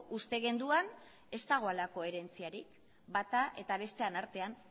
uste genuen ez dagoela koherentziarik bata eta bestearen artean